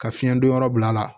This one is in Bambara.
Ka fiɲɛ don yɔrɔ bila a la